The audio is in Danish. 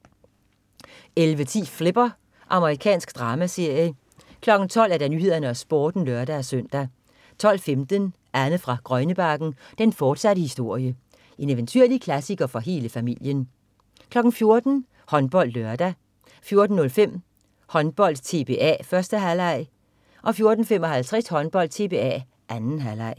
11.10 Flipper. Amerikansk dramaserie 12.00 Nyhederne og Sporten (lør-søn) 12.15 Anne fra Grønnebakken. Den fortsatte historie. Eventyrlig klassiker for hele familien 14.00 HåndboldLørdag 14.05 Håndbold: TBA, 1. halvleg 14.55 Håndbold: TBA, 2. halvleg